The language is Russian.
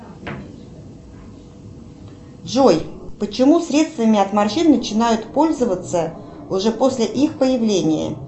джой почему средствами от морщин начинают пользоваться уже после их появления